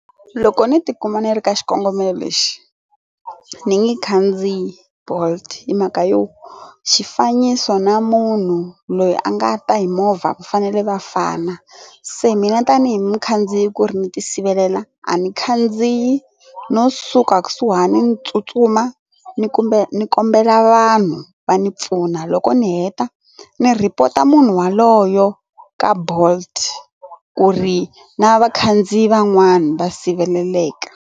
Loko ni tikuma ni ri ka xikongomelo lexi ni nge khandziyi bolt hi mhaka yo xifaniso na munhu loyi a nga ta hi movha vafanele vafana se mina tanihi mukhandziyi ku ri ni tisivelela a ni khandziyi no suka ka kusuhani ni tsutsuma ni kumbe ni kombela vanhu va ni pfuna loko ni heta ni rhipota munhu waloyo ka bolt ku ri na vakhandziyi van'wana va siveleleka.